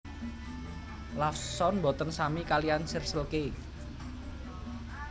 Lawson mboten sami kaliyan Circle K